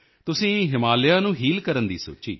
ਤੁਸੀਂ ਹਿਮਾਲਿਆ ਨੂੰ ਹੀਲ ਕਰਨ ਦੀ ਸੋਚੀ